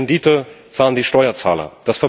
Die Rendite zahlen die Steuerzahler.